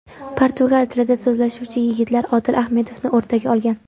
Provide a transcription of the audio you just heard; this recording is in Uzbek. Portugal tilida so‘zlashuvchi yigitlar Odil Ahmedovni o‘rtaga olgan.